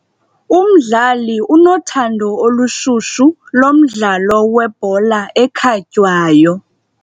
Umdlali unothando olushushu lomdlalo webhola ekhatywayo.